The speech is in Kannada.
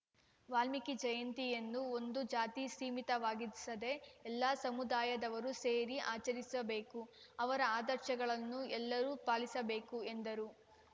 ವಾಲ್ಮೀಕಿ ಜಯಂತಿಯನ್ನು ಒಂದು ಜಾತಿಗೆ ಸೀಮಿತವಾಗಿಸದೆ ಎಲ್ಲಾ ಸಮುದಾಯದವರು ಸೇರಿ ಆಚರಿಸಬೇಕು ಅವರ ಆದರ್ಶಗಳನ್ನು ಎಲ್ಲರೂ ಪಾಲಿಸಬೇಕು ಎಂದರು